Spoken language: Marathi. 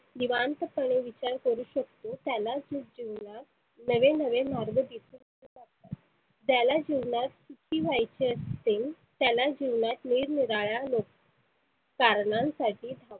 निवांत पणे विचार करु शकतो त्यालाच जिवणात नवे नवे मार्ग दिसु लागतात. त्याला जिवनात सुखी व्हायचे असते. त्याला जिवनात निरनिराळ्या लो कारणांसाठी